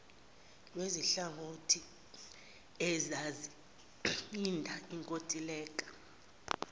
kwezinhlangothi ezisayinda lenkontileka